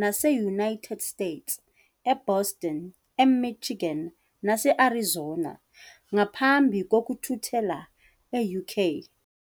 nase-United States - eBoston, eMichigan nase-Arizona - ngaphambi kokuthuthela e-UK.